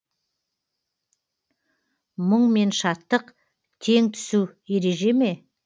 мұң мен шаттық тең түсу ережеме